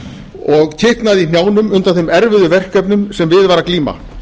og kiknaði í hnjánum undan þeim erfiðu verkefnum sem við var að glíma